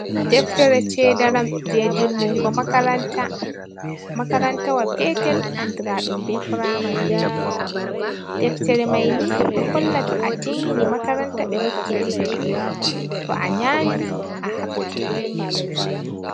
Deftere cedaram je timmingo makaranta makaranta wa petel andiraɗum be pramari deftere maini ɗo holla to a timmini makaranta ɓe hokkete tow anyami ɓe hokkate